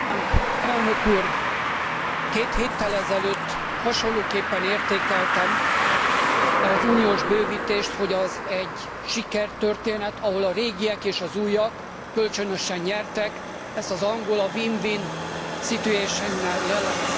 Elnök úr, két héttel ezelőtt hasonlóképpen értékeltem az uniós bővítést, hogy az egy sikertörténet, ahol a régiek és az újak kölcsönösen nyertek, ezt az angol a win win situation nel jellemezte.